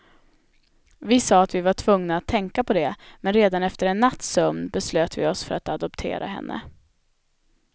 Vi sa att vi var tvungna att tänka på det, men redan efter en natts sömn beslöt vi oss för att adoptera henne.